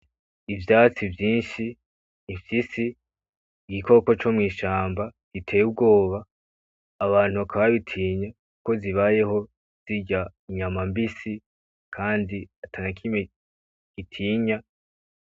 Ivyatsi vyinshi bifise igikoko co mw,ishamba giteye ubwoba abantu bakaba bagitinya kuko zibayeho zirya inyama mbisi kandi atanakimwe gitinya.